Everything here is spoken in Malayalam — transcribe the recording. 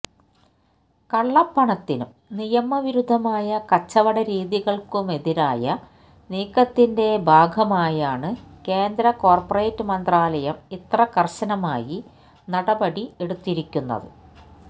കള്ളപ്പണത്തിനും നിയമവിരുദ്ധമായ കച്ചവടരീതികള്ക്കുമെതിരായ നീക്കത്തിന്റെ ഭാഗമായാണ് കേന്ദ്ര കോര്പ്പറേറ്റ് മന്ത്രാലയം ഇത്ര കര്ശനമായി നടപടി എടുത്തിരിക്കുന്നത്